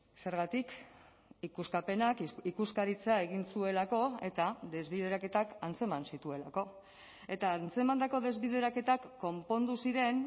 zergatik ikuskapenak ikuskaritza egin zuelako eta desbideraketak antzeman zituelako eta antzemandako desbideraketak konpondu ziren